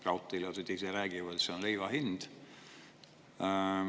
Raudteelased ise räägivad, et see on leivahind.